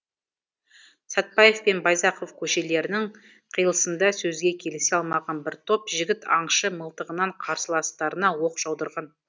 сәтбаев пен байзақов көшелерінің қиылысында сөзге келісе алмаған бір топ жігіт аңшы мылтығынан қарсыластарына оқ жаудырған